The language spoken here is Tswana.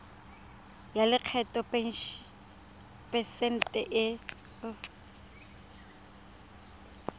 ya lekgetho phesente e